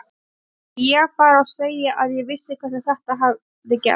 Átti ég að fara og segja að ég vissi hvernig þetta hefði gerst.